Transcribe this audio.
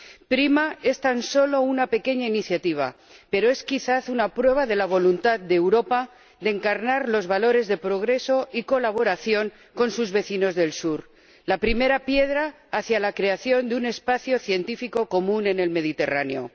PRIMA es tan solo una pequeña iniciativa, pero es, quizás, una prueba de la voluntad de Europa de encarnar los valores de progreso y colaboración con sus vecinos del Sur, la primera piedra hacia la creación de un espacio científico común en el Mediterráneo.